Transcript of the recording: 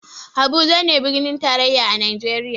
Habuja ne birnin tarayya a najeriya